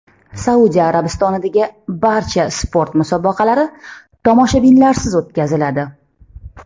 Saudiya Arabistonidagi barcha sport musobaqalari tomoshabinlarsiz o‘tkaziladi .